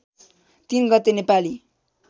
३ गते नेपाली